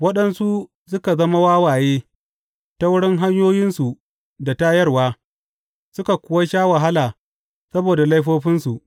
Waɗansu suka zama wawaye ta wurin hanyoyinsu na tayarwa suka kuwa sha wahala saboda laifofinsu.